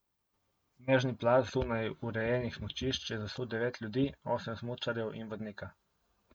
Snežni plaz zunaj urejenih smučišč je zasul devet ljudi, osem smučarjev in vodnika.